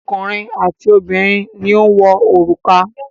Ọkùnrin àti obìnrin ni ó ń wọ òrùka.